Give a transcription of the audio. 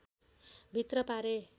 भित्र पारे